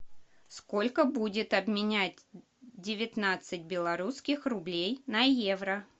сколько будет обменять девятнадцать белорусских рублей на евро